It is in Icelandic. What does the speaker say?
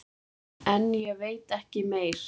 En ég veit ekki meir.